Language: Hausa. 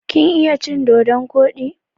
Kin iya cin dodon koɗi?